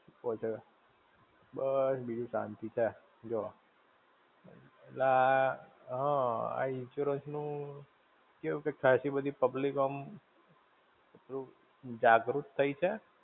છે. બસ બીજું શાંતિ છે જુઓ. અલા, હમ્મ આ insurance નું, કેવું કે ખાસી બધી public ઓ આમ જાગૃત થઇ છે.